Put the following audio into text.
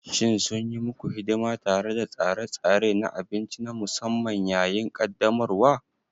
Shin sun yi muku hidima tare da tsare-tsare na abinci na musamman yayin ƙaddamarwa?